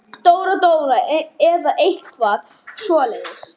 Dóra-Dóra eða eitthvað svoleiðis.